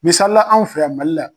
Misalila an fɛ yan Mali la.